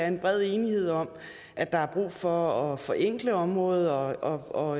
en bred enighed om at der er brug for at forenkle området og